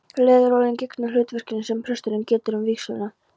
Leðurólin gegnir hlutverkinu sem presturinn getur um við vígsluna.